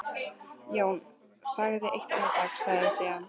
Jón þagði eitt andartak, sagði síðan